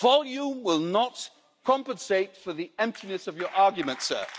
Volume will not compensate for the emptiness of your arguments, sir.